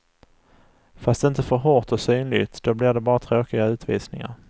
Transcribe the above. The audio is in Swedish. Fast inte för hårt och synligt, då blir det bara tråkiga utvisningar.